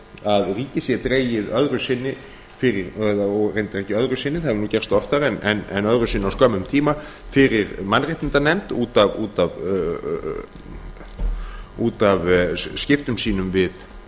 að ríkið sé dregið öðru sinni og reyndar ekki öðru sinni það hefur nú gerst oftar en öðru sinni á skömmum tíma fyrir mannréttindanefnd út af skiptum sínum við